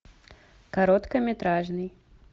короткометражный